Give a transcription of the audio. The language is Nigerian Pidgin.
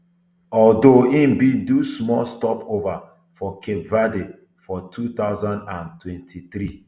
although e bin do small stopover for cape verde for two thousand and twenty-three